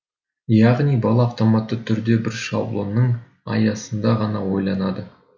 яғни бала автоматты түрде бір шаблонның аясында ғана ойланады